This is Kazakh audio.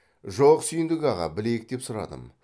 жок сүйіндік аға білейік деп сұрадым